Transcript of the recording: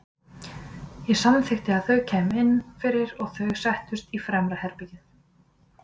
Ég samþykkti að þau kæmu inn fyrir og þau settust inn í fremra herbergið.